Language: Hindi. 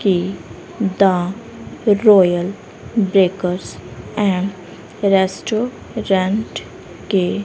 की the royal breakers and restaurant के--